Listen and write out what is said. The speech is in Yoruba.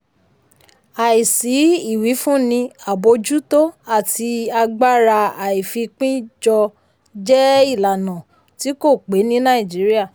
àìsí ìwífúnni àbójútó àti agbára àìfipín jọ jẹ́ ìlànà tí kò pé ní nàìjíríà.